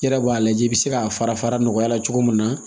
I yɛrɛ b'a lajɛ i bɛ se k'a fara fara nɔgɔya la cogo min na